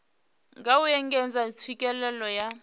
nga u engedza tswikelelo ya